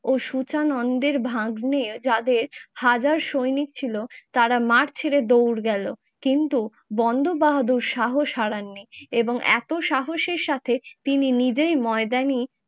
ও সূচনন্দের ভাগ্নে যাদের হাজার সৈনিক ছিল তারা মাঠ ছেড়ে দৌড় গেলো, কিন্তু বন্দো বাহাদুর সাহস হারাননি এবং এতো সাহসের সাথে তিনি নিজেই ময়দানে